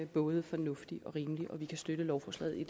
både fornuftig og rimelig og vi kan støtte lovforslaget i